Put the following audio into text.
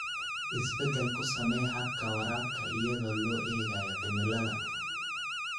Isbeddel ku samee habka waraabka iyadoo loo eegayo cimilada.